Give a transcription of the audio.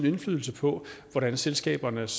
indflydelse på hvordan selskabernes